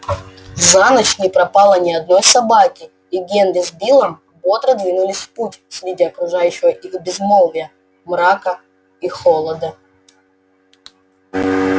за ночь не пропало ни одной собаки и генри с биллом бодро двинулись в путь среди окружающего их безмолвия мрака и холода